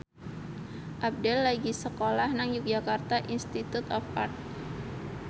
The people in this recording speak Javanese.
Abdel lagi sekolah nang Yogyakarta Institute of Art